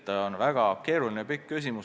Tegu on väga keerulise valdkonnaga.